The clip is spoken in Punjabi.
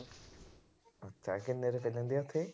ਅੱਛਾ ਕਿੰਨੇ ਰੁਪਏ ਲੈਂਦੇ ਆ ਉਥੇ।